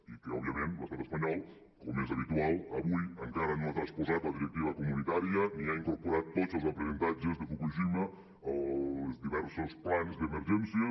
i que òbviament l’estat espanyol com és habitual avui encara no ha transposat la directiva comunitària ni ha incorporat tots els aprenentatges de fukushima als diversos plans d’emergències